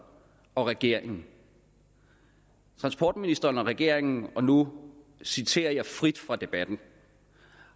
og regeringen transportministeren og regeringen og nu citerer jeg frit fra debatten